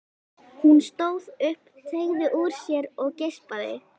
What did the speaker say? Hún stóð upp, teygði úr sér og geispaði.